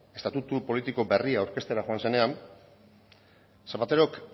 estatutu politiko berria aurkeztera joan zenean zapaterok